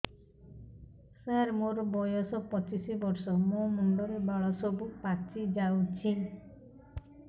ସାର ମୋର ବୟସ ପଚିଶି ବର୍ଷ ମୋ ମୁଣ୍ଡରେ ବାଳ ସବୁ ପାଚି ଯାଉଛି